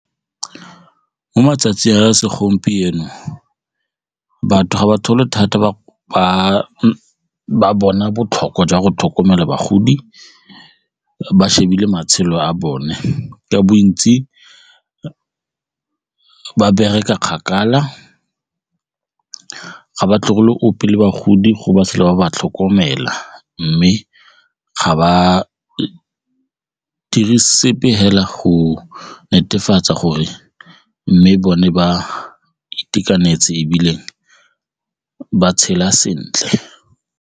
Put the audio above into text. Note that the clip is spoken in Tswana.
Mo matsatsing a segompieno batho ga ba thata ba bona botlhokwa jwa go tlhokomela bagodi ba shebile matshelo a bone, ka bontsi ba bereka kgakala, ga ba tlogele opile bagodi go ba sala ba ba tlhokomela mme ga ba dire sepe fela go netefatsa gore mme bone ba itekanetse ebile ba tshela sentle.